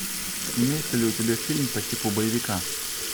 имеется ли у тебя фильм по типу боевика